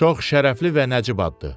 Çox şərəfli və nəcib addır.